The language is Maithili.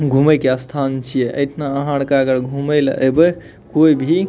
घूमे के स्थान छिए एठना अहां आर के घूमे ले एबे कोय भी --